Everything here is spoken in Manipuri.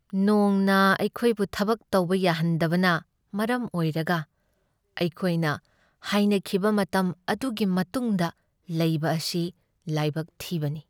ꯅꯣꯡꯅ ꯑꯩꯈꯣꯏꯕꯨ ꯊꯕꯛ ꯇꯧꯕ ꯌꯥꯍꯟꯗꯕꯅ ꯃꯔꯝ ꯑꯣꯏꯔꯒ ꯑꯩꯈꯣꯏꯅ ꯍꯥꯏꯅꯈꯤꯕ ꯃꯇꯝ ꯑꯗꯨꯒꯤ ꯃꯇꯨꯡꯗ ꯂꯩꯕ ꯑꯁꯤ ꯂꯥꯏꯕꯛ ꯊꯤꯕꯅꯤ ꯫